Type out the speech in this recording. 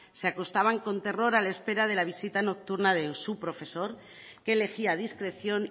se acostaban con terror a la espera de la visita nocturna de su profesor que elegía a discreción